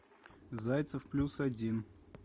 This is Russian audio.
зайцев плюс один